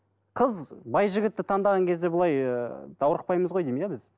қыз бай жігітті таңдаған кезде былай даурықпаймыз ғой деймін иә біз